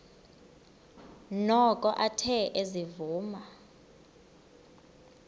noko athe ezivuma